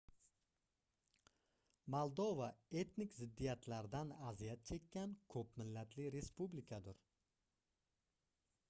moldova etnik ziddiyatlardan aziyat chekkan koʻp millatli respublikadir